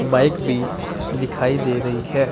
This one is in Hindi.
बाइक भी दिखाई दे रही है।